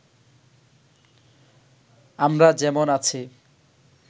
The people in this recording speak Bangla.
আমরা যেমন আছি